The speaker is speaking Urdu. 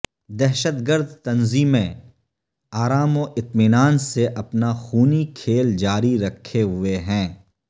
دھشت گرد تنظیمیں ارام و اطمعنان سے اپنا خونی کھیل جاری رکھے ھوے ھیں